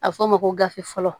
A bɛ fɔ o ma ko gafe fɔlɔ